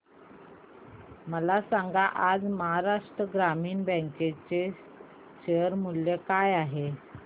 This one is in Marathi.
मला सांगा आज महाराष्ट्र ग्रामीण बँक चे शेअर मूल्य काय आहे